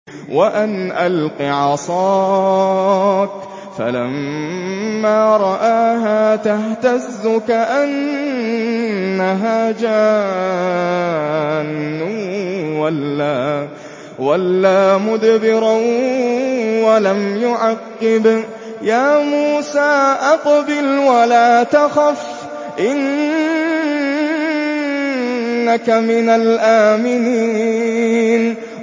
وَأَنْ أَلْقِ عَصَاكَ ۖ فَلَمَّا رَآهَا تَهْتَزُّ كَأَنَّهَا جَانٌّ وَلَّىٰ مُدْبِرًا وَلَمْ يُعَقِّبْ ۚ يَا مُوسَىٰ أَقْبِلْ وَلَا تَخَفْ ۖ إِنَّكَ مِنَ الْآمِنِينَ